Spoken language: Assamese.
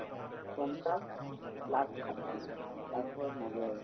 পঞ্চাশ last ষাঠি তাৰ ওপৰত নাযায়ে